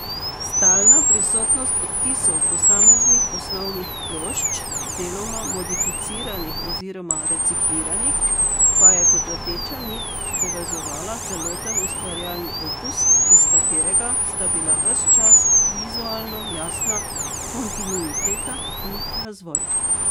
Stalna prisotnost odtisov posameznih osnovnih plošč, deloma modificiranih oziroma recikliranih, pa je kot rdeča nit povezovala celoten ustvarjalni opus, iz katerega sta bila ves čas vizualno jasna kontinuiteta in razvoj.